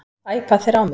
Æpa þeir á mig?